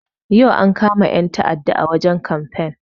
Yau ankama 'yan ta'aɗa a wajen kamfen.